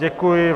Děkuji vám.